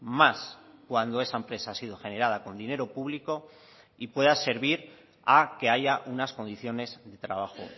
más cuando esa empresa ha sido generada con dinero público y pueda servir a que haya unas condiciones de trabajo